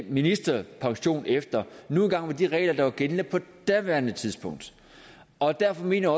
ministerpension efter nu engang er de regler der var gældende på daværende tidspunkt og derfor mener